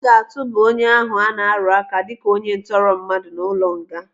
Aga atụba onye ahụ ana-arụaka dịka onye ntọrọmmadụ n'ụlọnga.